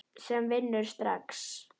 sem vinnur strax.